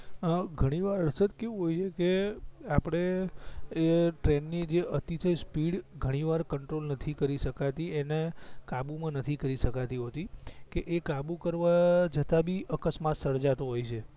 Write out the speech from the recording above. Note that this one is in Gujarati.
અ ઘણી વાર હર્ષદ કેવું હોય છે કે આપડે એ ટ્રેન ની જે અતિશય સ્પીડ ઘણી વાર કંટ્રોલ નથી કરી સકાતી એને કાબૂ માં નથી કરી સકાતી હોતી કે એ કાબૂ કરવા જતાં ભી અકસ્માત સર્જાતો હોય છે